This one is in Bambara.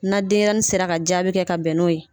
Na denyɛrɛnin sera ka jaabi kɛ ka bɛn n'o ye